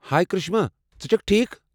ہایہ کرشمہ، ژٕ چھكھہٕ ٹھیٖکھ ؟